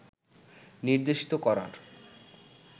নির্দেশিত করার